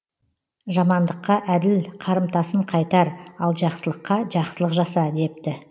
жамандыққа әділ қарымтасын қайтар ал жақсылыққа жақсылық жаса депті